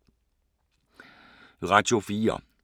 Radio 4